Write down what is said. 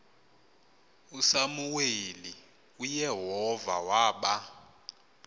usamuweli uyehova waba